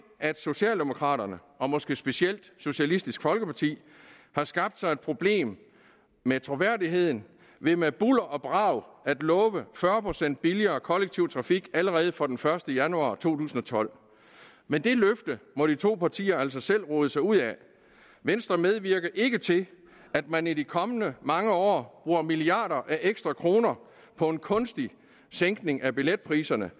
at socialdemokraterne og måske specielt socialistisk folkeparti har skabt sig et problem med troværdigheden ved med bulder og brag at love fyrre procent billigere kollektiv trafik allerede fra den første januar to tusind og tolv men det løfte må de to partier altså selv rode sig ud af venstre medvirker ikke til at man i de kommende mange år bruger milliarder af ekstra kroner på en kunstig sænkning af billetpriserne